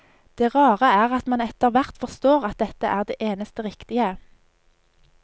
Det rare er at man etter hvert forstår at dette er det eneste riktige.